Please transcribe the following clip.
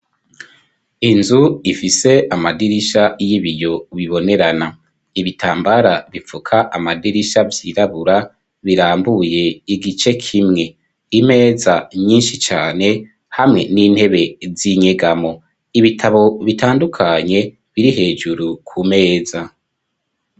Inzu ifise amadirisha y'ibiyo bibonerana. Ibitambara bifuka amadirisha byirabura birambuye igice kimwe imeza nyinshi cane hamwe n'intebe z'inyegamo ibitabo, bitandukanye biri hejuru ku meza.